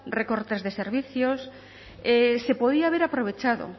recortes de servicios se podía haber aprovechado